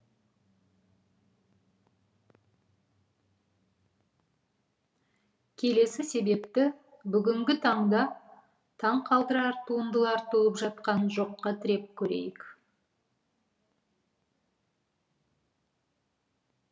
келесі себепті бүгінгі таңда таңқалдырар туындалар туып жатқан жоққа тіреп көрейік